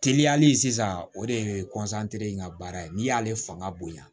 Teliyali sisan o de ye in ka baara ye n'i y'ale fanga bonya